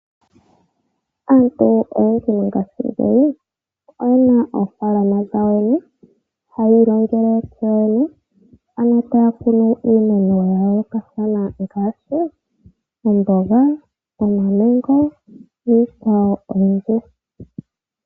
Aantu oyendji mongashingeyi oyena ofaalama dhawo yoyene hayi iilongele yoyene ano taya kunu iimeno ya yoolokathana oomboga, omamango, niikwawo oyindji.